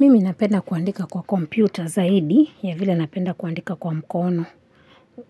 Mimi napenda kuandika kwa kompyuta zaidi ya vile napenda kuandika kwa mkono